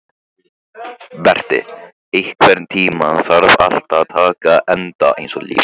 Berti, einhvern tímann þarf allt að taka enda.